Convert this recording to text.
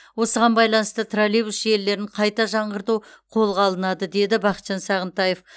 осыған байланысты троллейбус желілерін қайта жаңғырту қолға алынады деді бақытжан сағынтаев